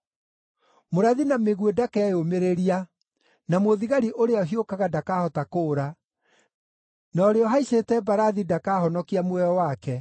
Mũrathi na mĩguĩ ndakeyũmĩrĩria, na mũthigari ũrĩa ũhiũkaga ndakahota kũũra, na ũrĩa ũhaicĩte mbarathi ndakahonokia muoyo wake.